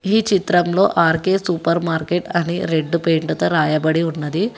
ఈ చిత్రంలో R K supermarket అని రెడ్ పెయింటుతో రాయబడి ఉన్నది.